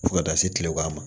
Fo ka taa se kileban ma